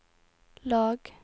lag